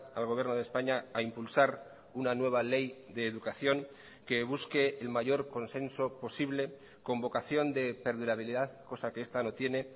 al gobierno de españa a impulsar una nueva ley de educación que busque el mayor consenso posible con vocación de perdurabilidad cosa que esta no tiene